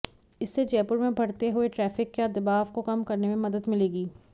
इससे जयपुर में बढ़ते हुए ट्रॉफिक के दबाब को कम करने में मदद मिलेगी